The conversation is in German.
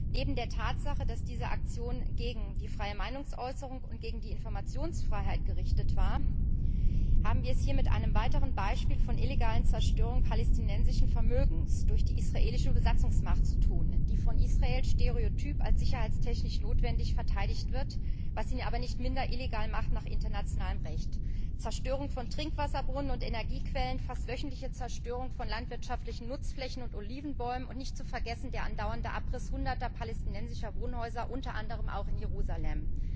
Neben der Tatsache, dass diese Aktion gegen die freie Meinungsäußerung und gegen die Informationsfreiheit gerichtet war, haben wir es hier mit illegaler Zerstörung palästinensischen Vermögens durch die israelische Besatzungsmacht zu tun, die von Israel zwar stereotyp als sicherheitstechnisch notwendig verteidigt wird, was sie aber nach internationalem Recht nicht minder illegal macht Zerstörung von Trinkwasserbrunnen und Energiequellen, fast wöchentliche Zerstörung von landwirtschaftlichen Nutzflächen und Olivenbäumen, und nicht zu vergessen der andauernde Abriss Hunderter palästinensischer Wohnhäuser, unter anderem auch in Jerusalem.